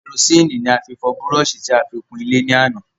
Kẹrosíni ni a fi fọ búróṣì tí a fi kun ilé ní àná